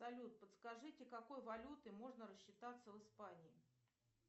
салют подскажите какой валютой можно рассчитаться в испании